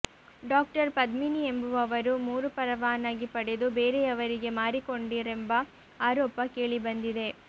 doctor Padmini ಎಂಬುವವರು ಮೂರು ಪರವಾನಗಿ ಪಡೆದು ಬೇರೆಯವರಿಗೆ ಮಾರಿಕೊಂಡಿರೆಂಬ ಆರೋಪ ಕೇಳಿಬಂದಿದೆ